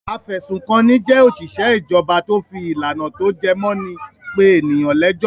Afẹ̀sùnkanni jẹ́ òṣìṣẹ́ ìjọba tó fi ìlànà tó jẹ mó in pé ènìyàn lẹ́jọ́.